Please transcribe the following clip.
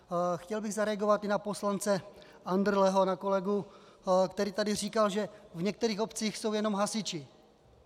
Chtěl bych zareagovat i na poslance Andrleho, na kolegu, který tady říkal, že v některých obcích jsou jenom hasiči.